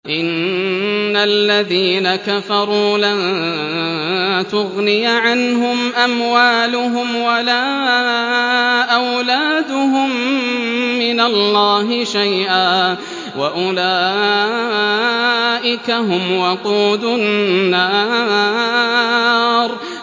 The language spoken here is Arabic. إِنَّ الَّذِينَ كَفَرُوا لَن تُغْنِيَ عَنْهُمْ أَمْوَالُهُمْ وَلَا أَوْلَادُهُم مِّنَ اللَّهِ شَيْئًا ۖ وَأُولَٰئِكَ هُمْ وَقُودُ النَّارِ